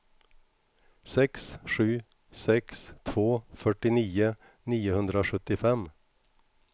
sex sju sex två fyrtionio niohundrasjuttiofem